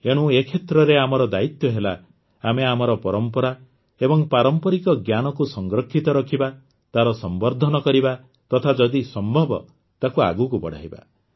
ଏଣୁ ଏ କ୍ଷେତ୍ରରେ ଆମର ଦାୟିତ୍ୱ ହେଲା ଆମେ ଆମର ପରମ୍ପରା ଏବଂ ପାରମ୍ପରିକ ଜ୍ଞାନକୁ ସଂରକ୍ଷିତ ରଖିବା ତାର ସମ୍ବର୍ଦ୍ଧନ କରିବା ତଥା ଯଦି ସମ୍ଭବ ତାକୁ ଆଗକୁ ବଢ଼ାଇବା